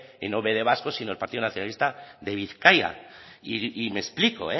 que no be de bascos sino del partido nacionalista de bizkaia y me explico